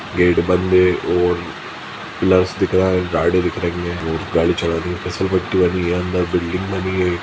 Gate बंद है और ग्लास दिख रहा है गाड़ी दिख रही है और गाड़ी चला फिसलपट्टी बनी है अंदर बिल्डिंग बनी है।